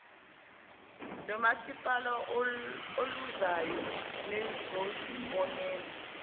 lomasipala oluzayo nizozibonela